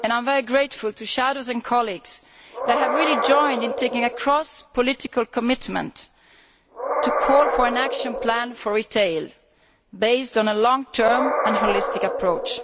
I am very grateful to shadows and colleagues who have made a great contribution in making a cross political commitment to call for an action plan for retail, based on a long term and holistic approach.